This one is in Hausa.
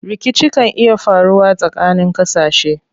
Rikici kan iya faruwa tsakanin ƙasashe.